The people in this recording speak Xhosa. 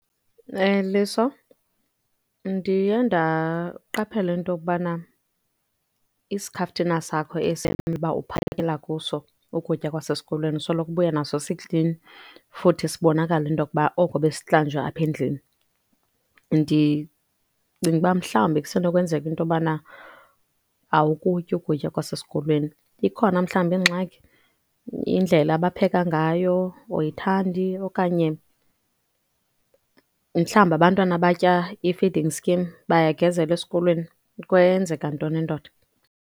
Liso, ndiye ndaqaphela into yokubana isikhaftina sakho esiya umela ukuba uphakela kuso ukutya kwasesikolweni usoloko ubuya naso siklini, futhi sibonakala into yokuba oko besihlanjwa apha endlini. Ndicinga uba mhlawumbi kusenokwenzeka into yobana awukutyi ukutya kwasesikolweni. Ikhona mhlawumbi ingxaki, indlela abapheka ngayo oyithandi? Okanye mhlambi abantwana abatya i-feeding scheme bayagezelwa esikolweni? Kwenzeka ntoni, ndoda?.